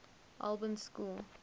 albans school